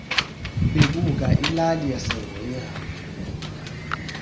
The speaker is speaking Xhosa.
bebuka ilali yasengonyama